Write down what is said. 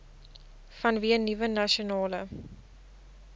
vanweë nuwe nasionale